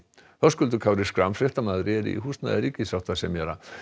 Höskuldur Kári Schram fréttamaður er í húsnæði ríkissáttasemjara